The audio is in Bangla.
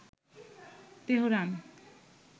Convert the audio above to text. তেহরান